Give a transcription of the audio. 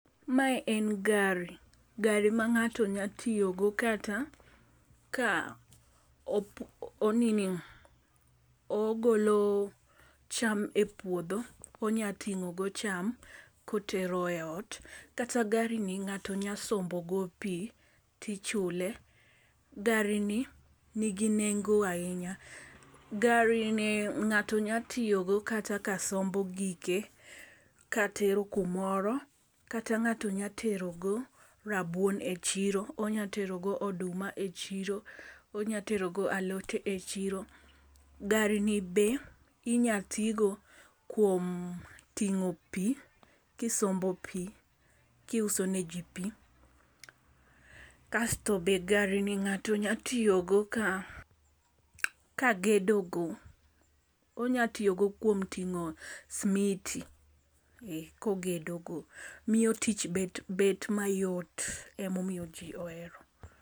Mae en gari, gari ma ng'ato nya tiyo go kata ka oo nini ogolo cham e puodho, onya tingo go cham kotero e ot kata gari ni ng'ato nya sombo go pii tichule . Gari ni nigi nengo ahinya gari ni ng'ato nya tiyo go kata ka sombo gike ka tero kumoro kata ng'ato nya tero go rabuon e chiro, onya tero go oduma e chiro, onya tero go alot e chiro. Gari ni be inya tigo kuom tingo pii kisombo pii kiuso ne jii, pii kasto be gari ni ngato nya tiyo go ka gedo go. Onya tiyo go kuom ting'o smiti kogedo go miyo tich bet mayot emomiyo jii ohero.